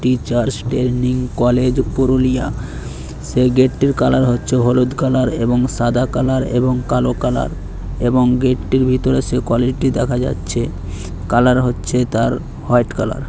Teachers training college Purulia সে গেটটির colour হচ্ছে হলুদ কালার এবং সাদা কালার এবং কালো কালার এবং গেটটির ভিতর সে কোয়ালিটি দেখা যাচ্ছে। কালার হচ্ছে তার হোয়াইট কালার ।